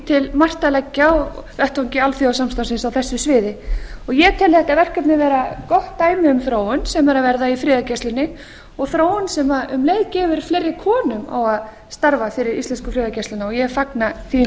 til margt að leggja á vettvangi alþjóðasamstarfsins á þessu friði ég tel þetta verkefni vera gott dæmi um þróun sem er að verða í friðargæslunni og þróun sem um leið gefur fleiri konum á að starfa fyrir íslensku friðargæsluna og ég fagna því